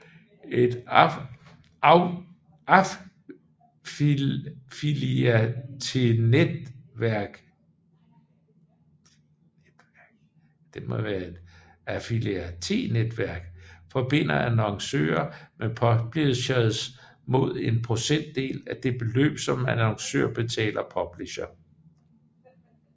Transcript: Et affiliatenetværk forbinder annoncører med publishers mod en procentdel af det beløb som annoncør betaler publisher